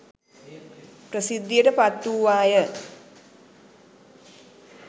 ප්‍රසිද්ධියට පත් වූවාය.